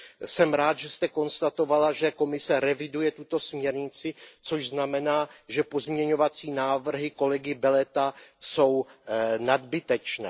Jsem rád, že jste konstatovala, že Komise reviduje tuto směrnici, což znamená, že pozměňovací návrhy kolegy Beleta jsou nadbytečné.